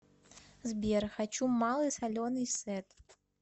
сбер хочу малый соленый сет